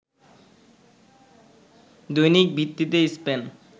দৈনিক ভিত্তিতে স্পেন